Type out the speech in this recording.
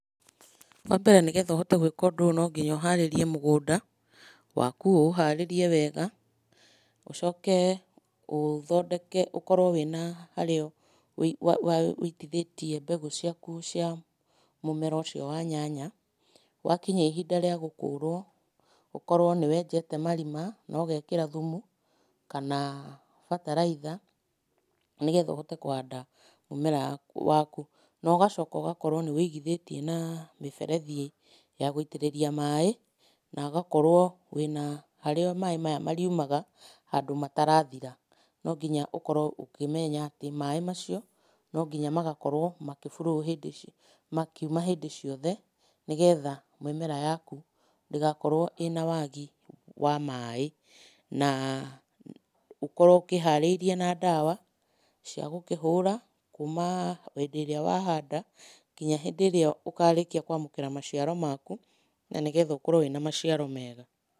Wambere nĩgetha ũhote gwĩka ũndũ ũyũ no nginya ũharĩrie mũgũnda waku, ũũharĩrie wega. Ucoke ũthondeke ũkorwo wĩna harĩa wĩitithĩtie mbeũ ciaku cia mũmera ũcio wa nyanya. Gwakinya ihinda rĩa gũkũrwo, ũkorwo nĩwenjete marima na ũgekĩra thumu kana bataraitha, nĩgetha ũhote kũhanda mũmera waku, na ũgacoka ũgakorwo nĩwĩigithĩtie na mĩberethi ya gũitĩrĩria maĩ, na ũgakorwo wĩna harĩa maĩ maya marĩumaga, handũ matarathira. No nginya ũkorwo ũkĩmenya atĩ maĩ macio no nginya magakorwo makĩ flow hĩndĩ ciothe, makiuma hĩndĩ ciothe, nĩgetha mĩmera yaku ndĩgakorwo ĩna wagi wa maĩ, na ũkorwo ũkĩharĩirie na ndawa cia gũkĩhũra, kuma hĩndĩ ĩrĩa wahanda kinya hĩndĩ ĩrĩa ũkarĩkia kwamũkĩra maciaro maku, na nĩgetha ũkorwo wĩna maciaro mega.